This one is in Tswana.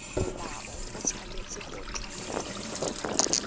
molao o tshwanetse go tlamela